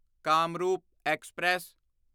Kamrup express